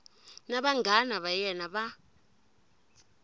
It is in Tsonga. na vanghana va yena va